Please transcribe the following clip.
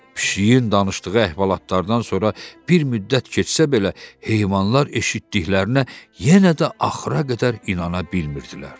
Pişiyin danışdığı əhvalatlardan sonra bir müddət keçsə belə, heyvanlar eşitdiklərinə yenə də axıra qədər inana bilmirdilər.